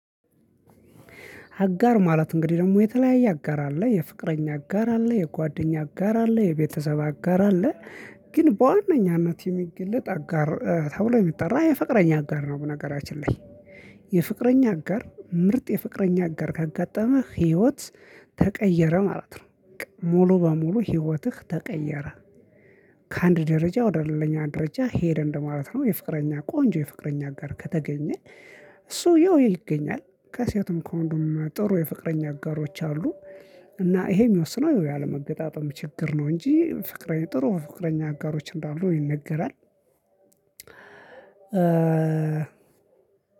አጋር ማለት እንግዲህ ደግሞ የተለያየ አጋር አለ የፍቅረኛ አጋር አለ የጓደኛ አጋር አለ የቤተሰብ አጋር አለ። ግን በዋነኝነት የሚገለጥ አጋር ተብሎ የሚጠራ የፍቅረኛ አጋር ነው። በነገራችን ላይ። የፍቅረኛ አጋር ምርጥ የፍቅረኛ አጋር ከጋጠመ ህይወት ተቀየረ ማለት ነው። ሙሉ በሙሉ ህይወትህ ተቀየረ። ከአንድ ደረጃ ወደ ሌላኛ ደረጃ ሄደ እንደማለት ነው። የፍቅረኛ ቆንጆ የፍቅረኛ ጋር ከተገኘ። እሱ ያው ይገኛል ከሴትም ከወንዱም ጥሩ የፍቅረኛ አጋሮች አሉ። እና ይሄ የሚወስነው ያለመገጣጠም ችግር ነው እንጂ ፍቅረኛ ጥሩ ፍቅረኛ አጋሮች እንዳሉ ይነገራል።